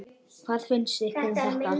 Hvað finnst ykkur um þetta?